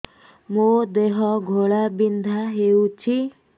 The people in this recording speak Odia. ମୋ ଦେହ ଘୋଳାବିନ୍ଧା ହେଉଛି